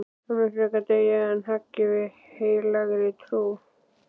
Hann mun frekar deyja en hagga við heilagri trú.